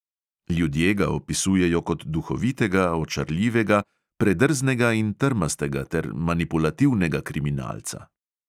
Ljudje ga opisujejo kot duhovitega, očarljivega, predrznega in trmastega ter manipulativnega kriminalca.